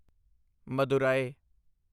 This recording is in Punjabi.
ਮਦੁਰਾਈ